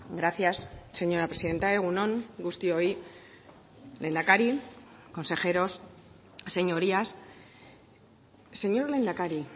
gracias señora presidenta egun on guztioi lehendakari consejeros señorías señor lehendakari